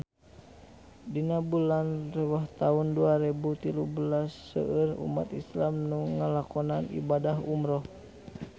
Dina bulan Rewah taun dua rebu tilu belas seueur umat islam nu ngalakonan ibadah umrah